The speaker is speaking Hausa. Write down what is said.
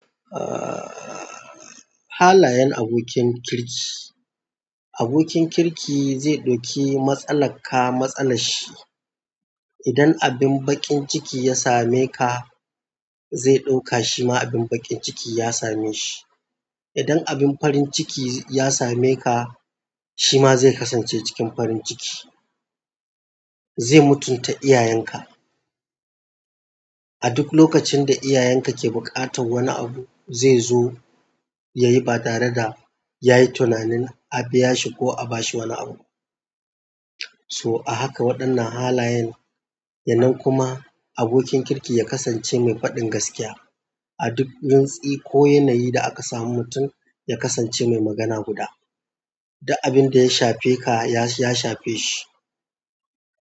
Ah, halayen abokin kirki. Abokin kirki zai ɗoki matsala ka matsala shi. Idan abin bakin ciki ya same ka, zai ɗauka shima abin baƙin ciki ya same shi. Idan abin farin ciki ya same ka, shi ma zai kasance cikin farin ciki. Zai mutunta iyayenka. A duk lokacin da iyayenka ke buƙatan wani abu, zai zo ya yi ba tare da ya yi tunanin a biya shi ko a ba shi wani abu. So a haka waɗannan halayen. Yanan kuma abokin kirki ya kasance mai faɗin gaskiya a duk rintsi ko yanayi da aka samu mutum ya kasance mai magana guda. Dak abin da ya shafe ka ya shafe shi.